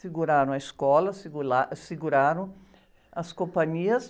Seguraram a escola, segu, seguraram as companhias.